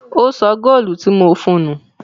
Ó sọ góólù tí mo fún un nù.